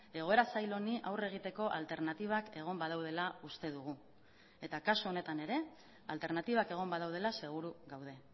egoera zail honi aurre egiteko alternatibak egon badaudela uste dugu eta kasu honetan ere alternatibak egon badaudela seguru gaude